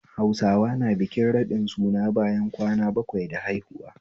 Hausawa na bikin raɗin suna bayan kwana bakwai da haihuwa